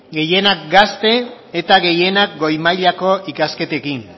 gehienak gazte eta gehienak goi mailako ikasketekin